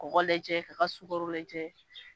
Kɔgɔ lajɛ k'a ka sugaro lajɛ